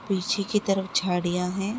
पीछे की तरफ झाड़ियां है।